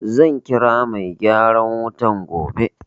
Zan kira mai gyaran wutan gobe.